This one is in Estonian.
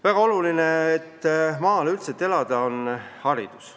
Väga oluline, et maal elada saaks, on haridus.